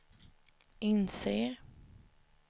inser